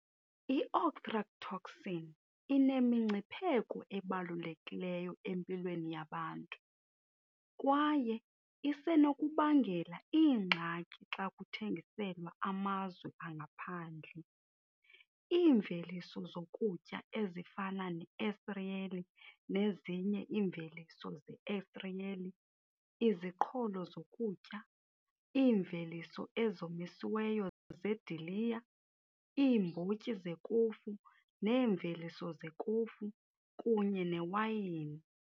I-ochratoxin inemingcipheko ebalulekileyo empilweni yabantu kwaye isenokubangela iingxaki xa kuthengiselwa amazwe angaphandle iimveliso zokutya ezifana neesiriyeli nezinye iimveliso zeesiriyeli, iziqholo zokutya, iimveliso ezomisiweyo zeediliya, iimbotyi zekofu neemveliso zekofu, kunye newayini.